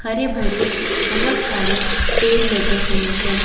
हरे भरे बहुत सारे पेड़ लगे हुए हैं।